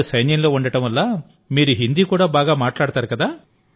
మీవారు సైన్యంలో ఉండడం వల్ల మీరు హిందీ కూడా బాగా మాట్లాడుతున్నారు